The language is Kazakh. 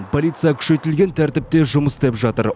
полиция күшейтілген тәртіпте жұмыс істеп жатыр